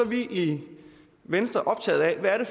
i venstre optaget af hvad det